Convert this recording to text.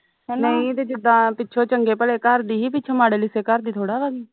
ਨਹੀਂ ਤੇ ਜਿੱਦਾ ਪਿਛੋਂ ਚੰਗੇ ਭਲੇ ਘਰ ਦੀ ਹੀ ਪਿਛੋਂ ਮਾੜੇ ਲਿਸੇ ਘਰ ਦੀ ਥੋੜਾ ਵਾ ਸੀ